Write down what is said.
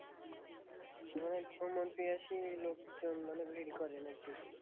যখন phone আন্তে আসি লোকজন মানে ভিড় করে নাকি